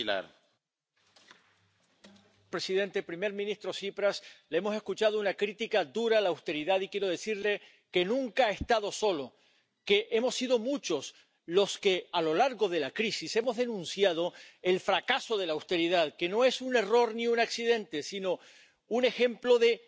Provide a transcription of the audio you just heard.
Señor presidente, señor primer ministro Tsipras, le hemos escuchado una crítica dura a la austeridad, y quiero decirle que nunca ha estado solo, que hemos sido muchos los que, a lo largo de la crisis, hemos denunciado el fracaso de la austeridad. Que no es un error ni un accidente, sino un ejemplo de